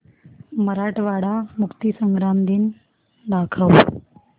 मराठवाडा मुक्तीसंग्राम दिन दाखव